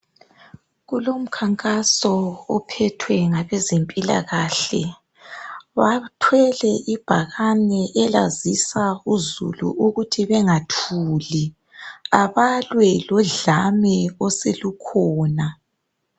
Kulomkhankaso ophethwe ngabezempilakahle bathwele ibhakane elazisa uzulu ukuthi bengathuli abalwe lodlame oselukhona.